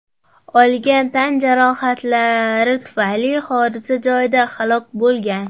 olgan tan jarohatlari tufayli hodisa joyida halok bo‘lgan.